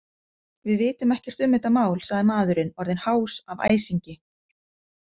Við vitum ekkert um þetta mál, sagði maðurinn, orðinn hás af æsingi.